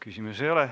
Küsimusi ei ole.